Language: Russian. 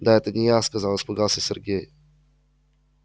да это не я сказал испугался сергей